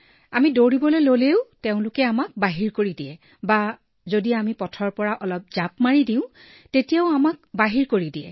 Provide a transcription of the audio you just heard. আমি দৌৰীলেও আমাক বাহিৰ কৰি দিব বা ৰাস্তাৰ পৰা অলপ নামিলেও জঁপিয়ালেও বাহিৰ কৰি দিব